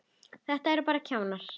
Þetta eru bara kjánar.